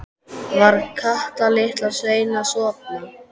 Var Kata litla sein að sofna?